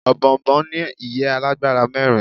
òbòònbòn ní ìyẹ́ alágbára mẹ́rin